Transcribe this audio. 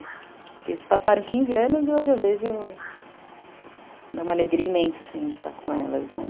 Porque eles passaram quinze anos e hoje eu vejo... Dá uma alegria imensa, assim, de estar com elas, né?